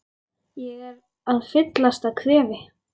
Ég er að fyllast af kvefi.